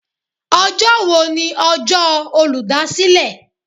Ọjọ́ wo ni ọjọ́ olúdásílè?